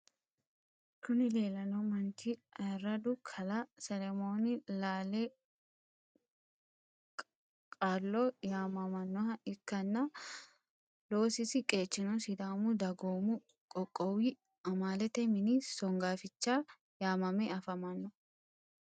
kuni lelano manchi ayirradu kalaa selemoon laale kalo yamanoha ikana loosisi qechino sidaama daagomu qoqowu amaalete mini songaaficha yamaame afmano.